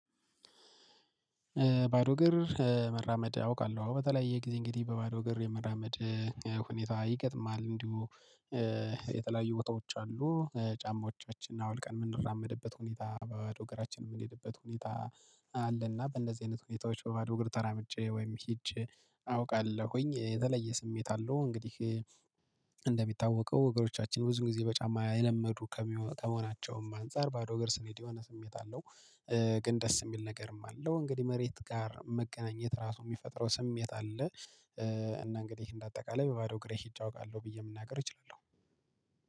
ባዶ እግር መራመድ አውቃለሁ በተለያየ ጊዜ እንግዲህ በባዶ እግር የመራመድ ሁኔታ ይገጥማል እንዲሁ። የተለያዩ ቦታዎች አሉ ጫማዎቻችን አውልቀን የምንራመድበት ሁኔታ በባዶ እግራችን የምንሄድበት ሁኔታ አለ። እና በእንደዚህ አይነት ሁኔታዎች በባዶ እግር ተራምጄ ወይም ሄጄ አውቃለሁኝ የተለየ ስሜት አለው። እንግዲህ እንደሚታወቀው እግሮቻችን ብዙ ጊዜ በጫማ የለመዱ ከመሆናቸውም አንፃር ባዶ እግር ስንሄድ የሆነ ስሜት አለው። ግን ደስ የሚል ነገርም አለው እንግዲህ መሬት ጋር መገናኘት ራሱ የሚፈጥረው ስሜት አለ። እና እንግዲህ እንደ አጠቃላይ በባዶ እግሬ ሄጄ አውቃለሁ ብዬ መናገር እችላለሁ።